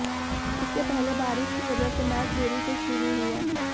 इसके पहले बारिश की वजह से मैच देरी से शुरु हुआ